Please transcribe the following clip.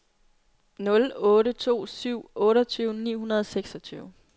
nul otte to syv otteogtyve ni hundrede og seksogtyve